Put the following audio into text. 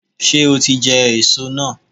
Ṣé o ti jẹ èso náà